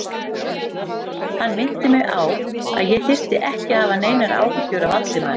Hann minnti mig á, að ég þyrfti ekki að hafa neinar áhyggjur af Valdimari